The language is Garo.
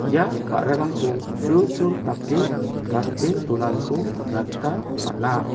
ia ba·rarangko sulsul dake gate donaniko nikna gita man·a.